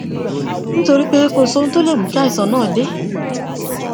nítorí pé kò sí ohun tó lè mú kí àìsàn náà dé